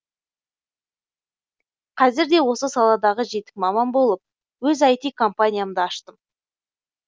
қазірде осы саладағы жетік маман болып өз іт компаниямды аштым